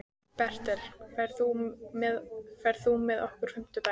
Bertel, ferð þú með okkur á fimmtudaginn?